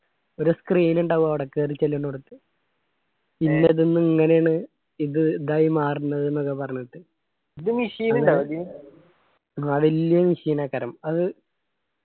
ഒരു screen ഇണ്ടാകും അവിടെ കേറി ചെല്ലുന്നോടത് ഇങ്ങനാണ് ഇത് ഇതായി മാർന്നത്‌ ന്ന്‌ ഒക്കെ പറഞ്ഞിട്ട് അത് വെല്യ machine അ കരം.